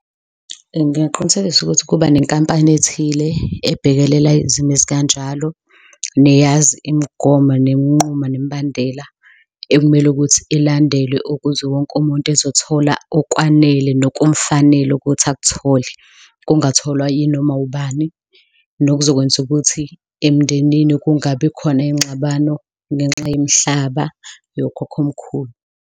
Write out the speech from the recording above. Ngingaqinisekisa ukuthi kuba nenkampani ethile ebhekelela izimo ezikanjalo, neyazi imigomo neminqumo nemibandela ekumele ukuthi ilandelwe ukuze wonke umuntu ezothola okwanele nokumfanele ukuthi akuthole, kungatholwa yinoma ubani, nokuzokwenza ukuthi emndenini kungabi khona iyingxabano ngenxa yemihlaba yokhokhomkhulu.